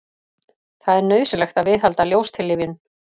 það er nauðsynlegt að viðhalda ljóstillífun